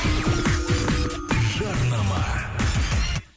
жарнама